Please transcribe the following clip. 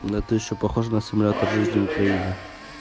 да ты что похож на симулятор жизни в украине